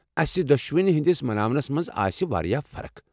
اسہِ دۄشوٕنی ہِنٛدِس مناونس مَنٛز آسہِ واریاہ فرق۔